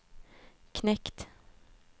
knekt